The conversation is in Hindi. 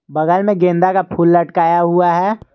बगल में गेंदा का फूल लटकाया हुआ है।